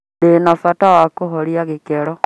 Ndĩ na bata wa kũhoria gikero.